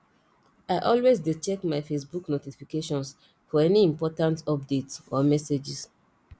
i always dey check my facebook notifications for any important updates or messages